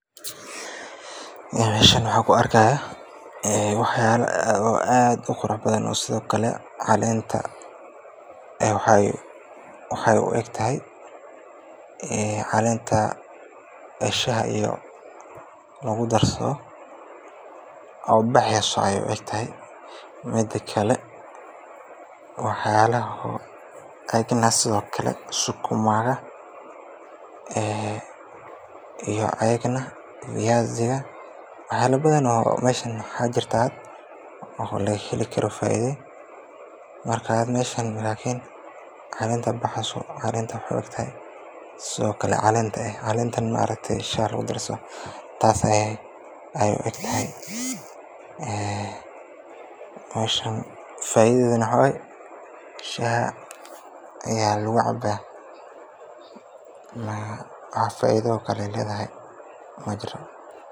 Meeshan waxaan ku arkaayo wax yaaba aad uqurux badan, caleenta waxeey u egtahay caleenta shaha lagu datsado, sido kale sukuma iyo fayaasi ayaa laga heli karaa, caleenta waxeey u egtahay shaha lagu datsado, faaidada waxaa waye shaha ayaa lagu cabaa.